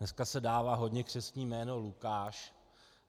Dneska se dává hodně křestní jméno Lukáš.